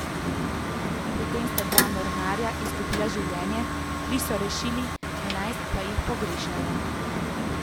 Pri tem sta dva mornarja izgubila življenje, tri so rešili, enajst pa jih pogrešajo.